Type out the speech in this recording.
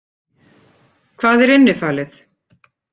Hvað er innifalið?